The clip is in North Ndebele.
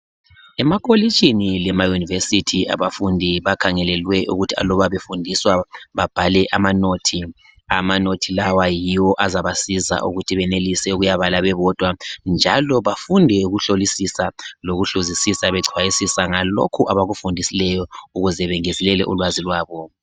emakolitshini lema university abafundi bakhalelwe ukuthi aluba befundiswa babhale ama nothi ama nothi lawa yiwo azabasiza ukuthi benelise ukuyabala bebodwa njalo bafunde ukuhlolisisa behluzisisa becwayisisa ngalokhu abakufundisiweyo ukuze bengezelele ulwazi lwabo